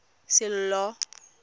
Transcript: sello